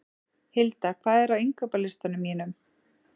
Hilda, hvað er á innkaupalistanum mínum?